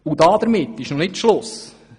Damit ist noch nicht Schluss!